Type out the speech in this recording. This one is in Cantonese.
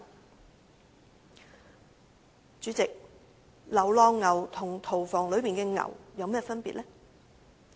代理主席，流浪牛和屠房內的牛有何分別呢？